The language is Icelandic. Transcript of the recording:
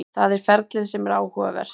Það er ferlið sem er áhugavert.